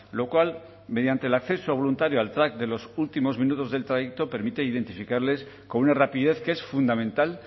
lo cual mediante el acceso voluntario al track de los últimos minutos del trayecto permite identificarles con una rapidez que es fundamental